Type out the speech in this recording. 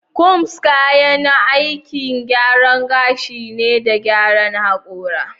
Combs kayan aikin gyaran gashi ne da gyaran hakora.